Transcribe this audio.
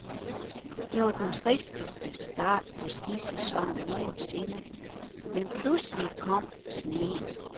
Det var den tristeste start på skisæsonen nogensinde, men pludselig kom sneen.